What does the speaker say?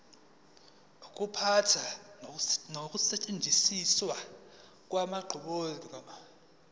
ukuphatha nokusetshenziswa kwenqubomgomo